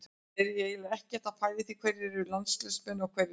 Ég er eiginlega ekkert að pæla í því hverjir eru landsliðsmenn og hverjir ekki.